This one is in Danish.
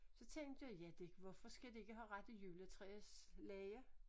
Så tænkte jeg ja det hvorfor skal de ikke have rigtige juletræslege